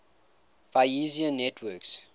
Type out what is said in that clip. bayesian networks